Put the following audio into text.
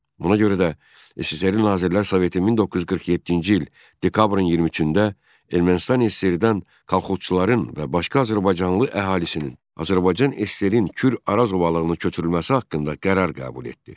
Buna görə də SSRİ Nazirlər Soveti 1947-ci il dekabrın 23-də Ermənistan SSRİ-dən kolxozçuların və başqa azərbaycanlı əhalisinin Azərbaycan SSRİ-nin Kür Araz ovalığına köçürülməsi haqqında qərar qəbul etdi.